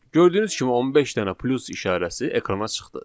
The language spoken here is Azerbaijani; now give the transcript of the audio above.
Gördüyünüz kimi 15 dənə plus işarəsi ekrana çıxdı.